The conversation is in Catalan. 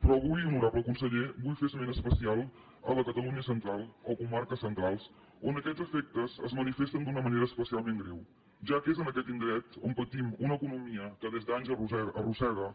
però avui honorable conseller vull fer esment especial a la catalunya central o a comarques centrals on aquests efectes es manifesten d’una manera especialment greu ja que és en aquest indret on patim una economia que des d’anys arrossega